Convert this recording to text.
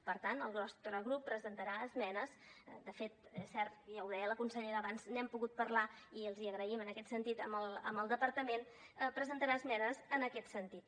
per tant el nostre grup presentarà esmenes de fet és cert ja ho deia la consellera abans n’hem pogut parlar i l’hi agraïm en aquest sentit al departament en aquest sentit